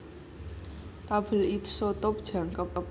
Tabèl isotop jangkep